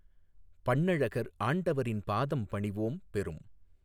பண்ணழகர் ஆண்டவரின் பாதம் பணிவோம் பெரும்